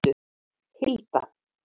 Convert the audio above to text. Hilda